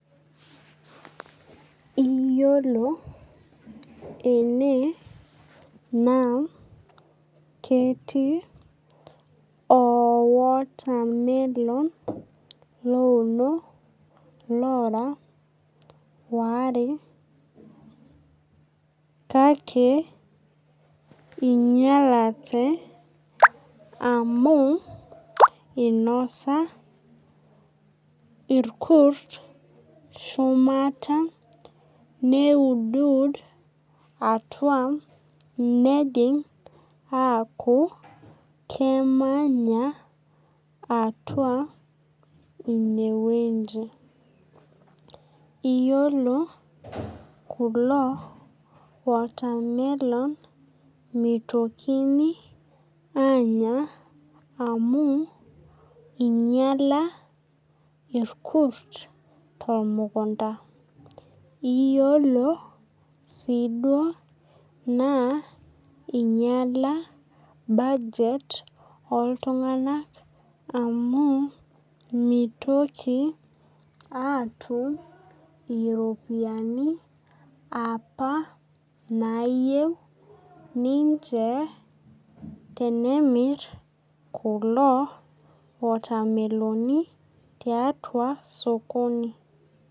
Iyiolo ene naa ketii oo watermelon louno lora ware kake inyalate amu inosa irkut shumata neudud atua nejing' akuu kemanya atua ineweji. Iyiolo keeku ore kulo watermelon mitokini anya amu inyala irkurt te mukunta. Iyiolo sii duo inyala budget oo. Ltung'ana amu mitoki atum iropiani apa nayeu ninche tenemir kulo watameloni taiatua sokoni.